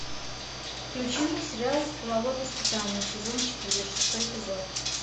включи мне сериал половое воспитание сезон четыре шестой эпизод